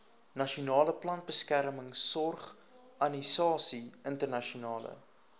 nasionale plantbeskermingsorganisasie internasionale